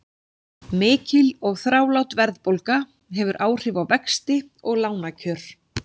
Mikil og þrálát verðbólga hefur áhrif á vexti og lánakjör.